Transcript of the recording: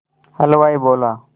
हलवाई बोला